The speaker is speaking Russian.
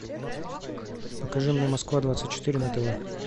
покажи мне москва двадцать четыре на тв